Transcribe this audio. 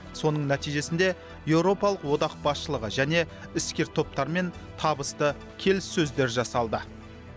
соның нәтижесінде европалық одақ басшылығы және іскер топтармен табысты келіссөздер жасалды